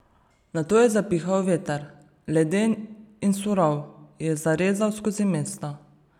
Nato je zapihal veter, leden in surov je zarezal skozi mesto.